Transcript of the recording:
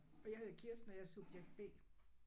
Og jeg hedder Kirsten og jeg er subjekt B